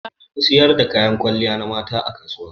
An fi siyar da kayan kwalliya na mata a kasuwa.